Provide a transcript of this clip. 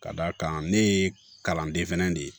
Ka d'a kan ne ye kalanden fɛnɛ de ye